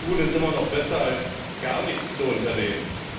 Aber etwas zu tun ist immer noch besser als gar nichts zu unternehmen.